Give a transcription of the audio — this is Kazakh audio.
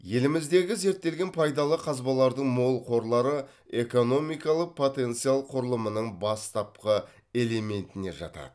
еліміздегі зерттелген пайдалы қазбалардың мол қорлары экономикалық потенциал құрылымының бастапқы элементіне жатады